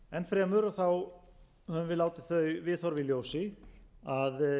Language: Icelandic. fremur höfum við látið þau viðhorf í ljós að